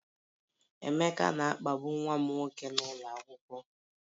Emeka na-akpagbu nwa m nwoke n'ụlọ akwụkwọ